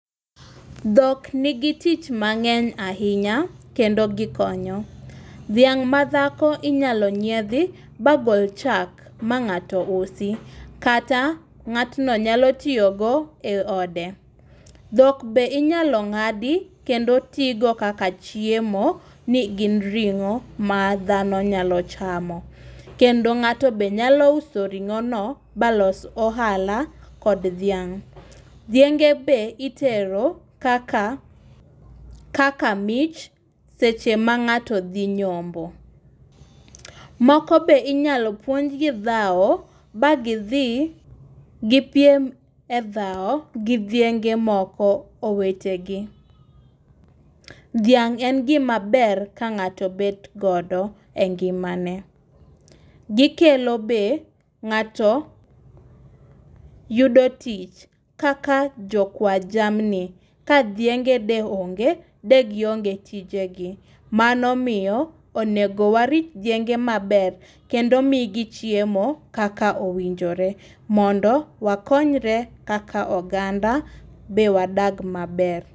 Dhok nigi tich mang'eny ahinya kendo gikonyo. Dhiang' ma dhako inyalo nyiedhi bagol chak ma ng'ato usi kata ng'atno nyalo tiyogo eode. Dhok be inyalo ng'adi kendo ti go kaka chiemo nigin ring'o madhano nyalo chamo. Kendo ng'ato be nyalo uso ring'o no balos ohala kod dhiang' . Dhienge be itero kaka kaka mich seche ma ng'ato dhi nyombo. Moko be inyalo puonjgi dhaw ba gidhi gipiem e dhaw gidhienge moko owetegi. Dhiang' en gima ber ka ng'ato bet godo e ngimane. Gikelo be ng'ato yudo tich kaka jokua jamni kadhienge de onge de gionge tije gi. Mano miyo onego warit dhienge maber kendo migi chiemo kaka owinjore mondo wakonyre kaka oganda be wadak maber.